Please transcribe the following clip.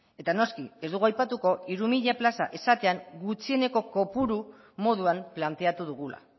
eta noski ez dugu aipatuko hiru mila plaza esatean gutxieneko kopuru moduan planteatu dugula